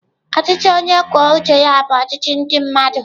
Ọchịchị onye kwuo uche ya bụ ọchịchị ndị mmadụ.